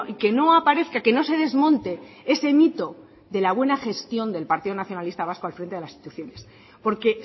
que no aparezca que no se desmonte ese mito de la buena gestión del partido nacionalista vasco al frente de las instituciones porque